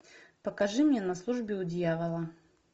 покажи мне на службе у дьявола